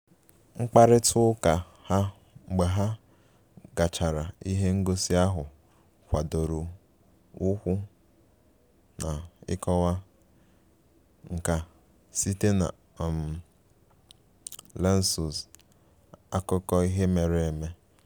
Mkparịta ụka ha mgbe ha gachara ihe ngosi ahụ gbadoro ụkwụ na ịkọwa nka site na um lensws akụkọ ihe mere eme